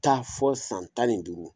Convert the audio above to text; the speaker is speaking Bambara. Taa fo san tan ni duuru.